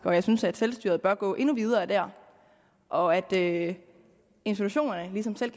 og jeg synes at selvstyret bør gå endnu videre der og at institutionerne ligesom selv